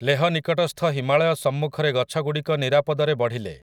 ଲେହ ନିକଟସ୍ଥ ହିମାଳୟ ସମ୍ମୁଖରେ ଗଛଗୁଡ଼ିକ ନିରାପଦରେ ବଢ଼ିଲେ ।